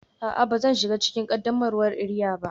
A'a, ba zan shiga cikin qaddamarwar iria ba